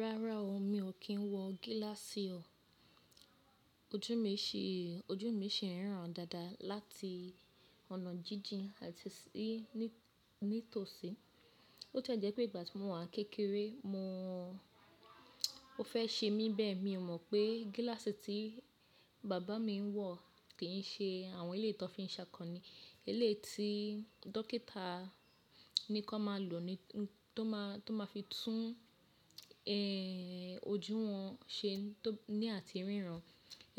Rárá o, mi ò kí n wọ gíláàsì o. Ojú mi ṣí, ojú mi ṣí ríran dáadáa láti ọ̀nà jíjìn àti sí nítòsí. Ó ti e jẹ́ pé ìgbà tí mo wà kékeré, o fẹ́ ṣe mí bẹ́ẹ̀, mi ò mọ̀ pé gíláàsì tí bàbá mi ń wọ̀ kì í ṣe àwọn eleyii tọ́n fi n sáko ni. Eléyi tí dókítà ní kí wọ́n máa lò ni tó máa fi tún ojú wọn ṣe ní àti ríran.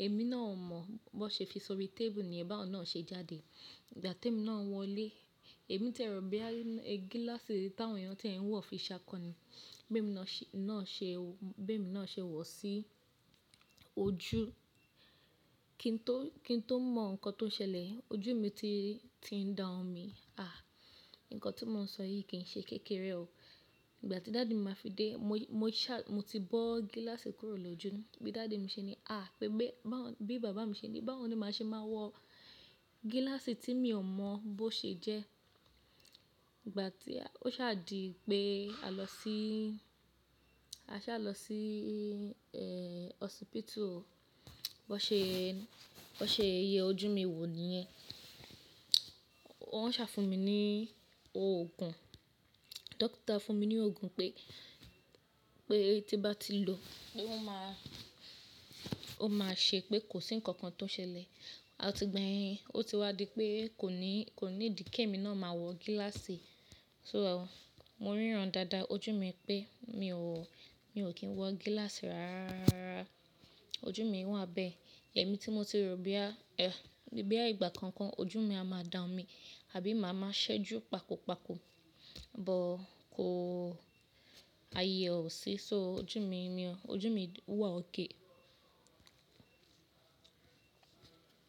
Èmi náà ò mọ̀ bó n ṣe fi sórí table ni bí àwọn náà ṣe jáde. Ìgbà tí èmi náà n wọlé, èmi tí ẹ rò bí ẹ́ gíláàsì táwọn èèyàn ti è ń wọ̀ fi ṣáko ni. Bí èmi náà ṣe, bí èmi náà ṣe wọ̀ sí ojú. Kí n tó mọ̀ nǹkan tó ń ṣẹlẹ̀, ojú mi ti ti ń da omi. Àh! Nǹkan tí mo ń sọ yìí kì í ṣe kékeré o. Ìgbà tí daddy mi ma fi dé, mo ti bọ́ gíláàsì kúrò lójú mi. Bí daddy mi ṣe ni, àh! Bí bàbá mi ṣe ní báwo ni màá ṣe máa wọ gíláàsì tí mi ò mọ̀ bó ṣe jẹ́. Ìgbà tí ó sáà di pé a lọ sí, a sáà lọ sí hospital, bí wọ́n ṣe ye ojú mi wò nìyẹn. Wọ́n ṣà fún mi ní òògùn. Dókítà fún mi ní òògùn pé tí bá ti lò ó máa ṣe pé kò sí nǹkan kan tó ń ṣẹlẹ̀. A ti ìgbàyen, ó ti wá di pé kò need kí èmi náà máa wọ gíláàsì. So mo ríran dáadáa ojú mi pé mi ò kí n wọ gíláàsì rárá. Ojú mi wà bẹ́ẹ̀. Èmi tí mo ti rò bóyá, bóyá ìgbà kankan ojú mi a máa da omi àbí màá máa ṣẹ́jú pákó pákó. But kò áyé ọ̀ sí so ojú mi wà okay.